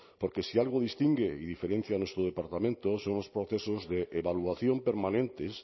porque si algo distingue y diferencia a nuestro departamento son los procesos de evaluación permanentes